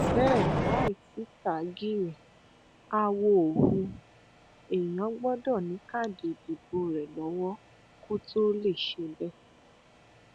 bẹ́ẹ̀ láì sí tágíìrì àwọ ò hu èèyàn gbọdọ ní káàdì ìdìbò rẹ lọwọ kó tó lè ṣe bẹẹ